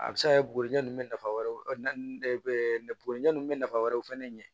A bɛ se ka kɛ bugurujɛ nunnu bɛ nafa wɛrɛw bori ɲɛ bɛ nafa wɛrɛw fɛnɛ ɲɛ